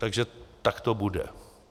Takže tak to bude.